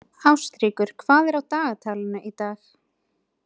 Ástríkur, hvað er á dagatalinu í dag?